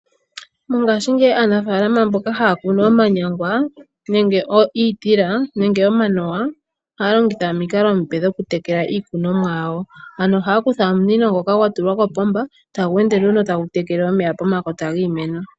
Mongashingeyi aanafaalama mboka haya kunu omanyangwa nenge iitila nenge omanuwa ohaya longitha omikalo omiipe o okutekela iikunomwa yawo, ano ohaya kutha omunino ngoka gwatulwa kopomba etagu ende nduno tagu tekele omeya pomakota giimeno.